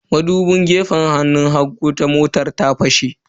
Madubin gefen hagu na motar ta fashe.